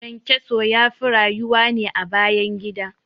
ƘyanƘyaso yafi rayuwa ne a bayan gida